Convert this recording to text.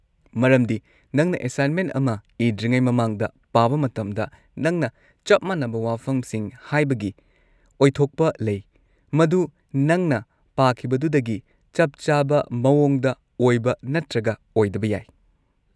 ꯃꯔꯝꯗꯤ ꯅꯪꯅ ꯑꯦꯁꯥꯏꯟꯃꯦꯟ ꯑꯃ ꯏꯗ꯭ꯔꯤꯉꯩ ꯃꯃꯥꯡꯗ ꯄꯥꯕ ꯃꯇꯝꯗ, ꯅꯪꯅ ꯆꯞ ꯃꯥꯟꯅꯕ ꯋꯥꯐꯝꯁꯤꯡ ꯍꯥꯏꯕꯒꯤ ꯑꯣꯏꯊꯣꯛꯄ ꯂꯩ, ꯃꯗꯨ ꯅꯪꯅ ꯄꯥꯈꯤꯕꯗꯨꯗꯒꯤ ꯆꯞ ꯆꯥꯕ ꯃꯑꯣꯡꯗ ꯑꯣꯏꯕ ꯅꯠꯇ꯭ꯔꯒ ꯑꯣꯏꯗꯕ ꯌꯥꯏ꯫